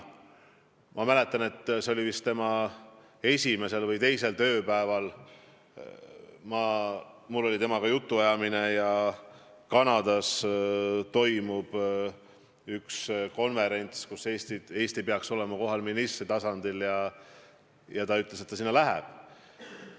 Ma mäletan, et see oli vist tema esimesel või teisel tööpäeval, kui mul oli temaga jutuajamine, et Kanadas toimub üks konverents, kus Eesti peaks olema kohal ministri tasemel, ja ta ütles, et ta läheb sinna.